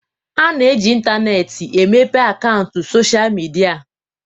A na-eji intaneetị emepe akaụntụ sochịa midia.